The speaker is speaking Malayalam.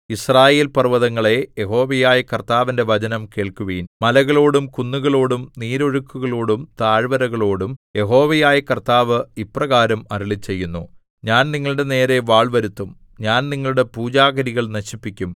യിസ്രായേൽപർവ്വതങ്ങളേ യഹോവയായ കർത്താവിന്റെ വചനം കേൾക്കുവിൻ മലകളോടും കുന്നുകളോടും നീരൊഴുക്കുകളോടും താഴ്വരകളോടും യഹോവയായ കർത്താവ് ഇപ്രകാരം അരുളിച്ചെയ്യുന്നു ഞാൻ നിങ്ങളുടെനേരെ വാൾ വരുത്തും ഞാൻ നിങ്ങളുടെ പൂജാഗിരികൾ നശിപ്പിക്കും